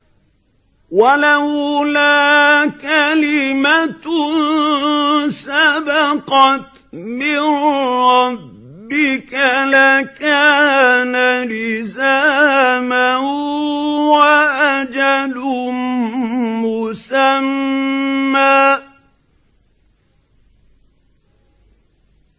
وَلَوْلَا كَلِمَةٌ سَبَقَتْ مِن رَّبِّكَ لَكَانَ لِزَامًا وَأَجَلٌ مُّسَمًّى